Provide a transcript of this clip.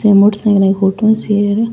आ motorcycle की photo आ सी है र।